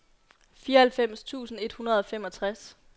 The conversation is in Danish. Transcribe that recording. fireoghalvfems tusind et hundrede og femogtres